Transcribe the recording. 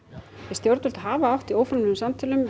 stjórnvöld hafa átt í óformlegum samtölum